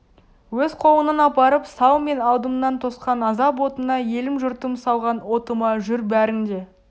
өз қолыңнан апарып сал мен алдымнан тосқан азап отына елім-жұртым салған отыма жүр бәрің де